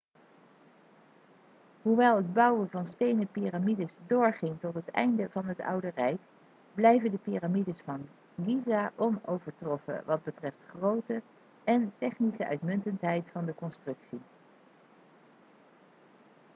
hoewel het bouwen van stenen piramides doorging tot het einde van het oude rijk blijven de piramides van giza onovertroffen wat betreft grootte en technische uitmuntendheid van de constructie